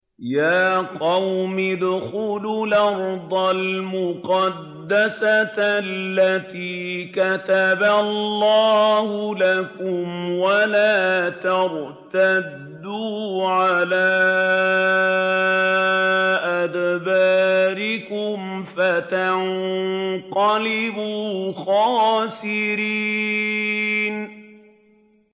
يَا قَوْمِ ادْخُلُوا الْأَرْضَ الْمُقَدَّسَةَ الَّتِي كَتَبَ اللَّهُ لَكُمْ وَلَا تَرْتَدُّوا عَلَىٰ أَدْبَارِكُمْ فَتَنقَلِبُوا خَاسِرِينَ